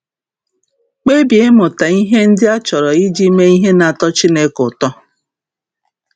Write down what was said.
Kpebie ịmụta ihe ndị a chọrọ iji mee ihe na-atọ Chineke ụtọ.